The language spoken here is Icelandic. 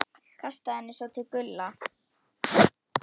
Kastaði henni svo til Gulla.